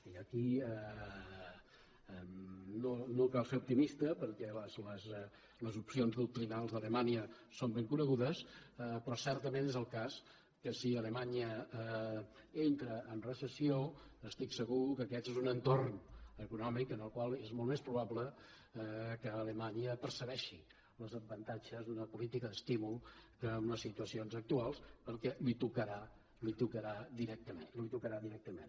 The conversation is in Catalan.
i aquí no cal ser optimista perquè les opcions doctrinals d’alemanya són ben conegudes però certament és el cas que si alemanya entra en recessió estic segur que aquest és un entorn econòmic en el qual és molt més probable que alemanya percebi els avantatges d’una política d’estímul que en les situacions actuals perquè li tocarà directament